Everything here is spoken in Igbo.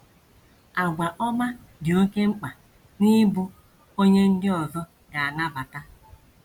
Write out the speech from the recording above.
Àgwà ọma “ dị oké mkpa n’ịbụ onye ndị ọzọ ga - anabata. ”